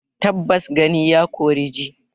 Tabbas gani ya kori ji